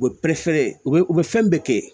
U bɛ pɛrɛ u bɛ u bɛ fɛn bɛɛ kɛ